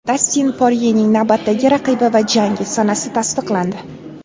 Dastin Poryening navbatdagi raqibi va jangi sanasi tasdiqlandi.